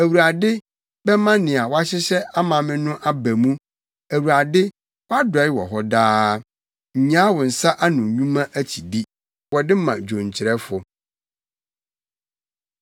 Awurade bɛma nea wahyehyɛ ama me no aba mu; Awurade, wʼadɔe wɔ hɔ daa, nnyaa wo nsa ano nnwuma akyidi. Wɔde ma dwonkyerɛfo.